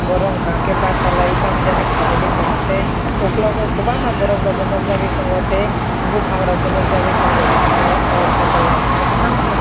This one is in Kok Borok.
boro hinkakhe bachalai tam jani khailaibai tongo tei ungkulukgo kwbangma borok nukjakgui tongo tei buphangrok bo nukjakgui tongo oh photo o naithotok kheno.